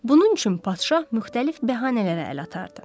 Bunun üçün padşah müxtəlif bəhanələrə əl atardı.